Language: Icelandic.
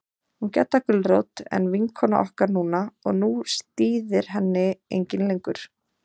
Hún Gedda gulrót en vinkona okkar núna og nú stíðir henni enginn lengur.